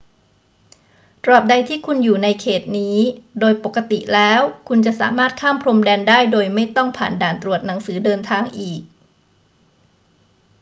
ตราบใดที่คุณอยู่ในเขตนี้ โดยปกติแล้วคุณจะสามารถข้ามพรมแดนได้โดยไม่ต้องผ่านด่านตรวจหนังสือเดินทางอีก